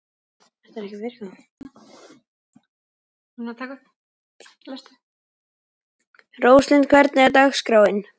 Róslind, hvernig er dagskráin?